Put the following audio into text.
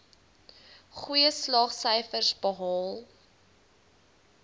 goeie slaagsyfers behaal